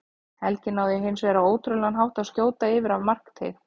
Helgi náði hins vegar á ótrúlegan hátt að skjóta yfir af markteig.